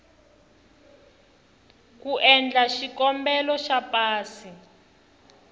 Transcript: ku endla xikombelo xa pasi